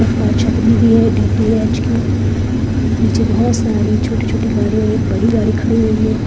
ऊपर छतरी भी है डी.टी.एच की नीचे बहुत सारे छोटे-छोटे गाड़ियां एक बड़ी गाड़ी भी खड़ी हुई है।